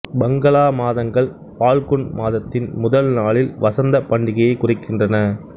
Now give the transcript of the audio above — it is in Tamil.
பங்களா மாதங்கள் பால்குன் மாதத்தின் முதல் நாளில் வசந்த பண்டிகையை குறிக்கின்றன